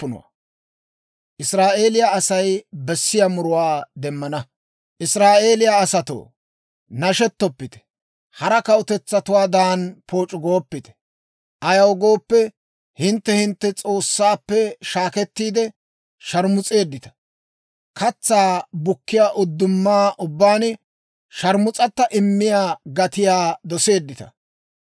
Israa'eeliyaa asatoo, nashettoppite! Hara kawutetsaatuwaadan, pooc'u gooppite! Ayaw gooppe, hintte hintte S'oossaappe shaakettiide, sharmus'eeddita; katsaa bukkiyaa uddumaa ubbaan sharmus'ata immiyaa gatiyaa doseeddita.